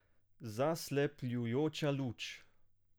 Zaslepljujoča luč.